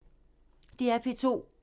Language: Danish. DR P2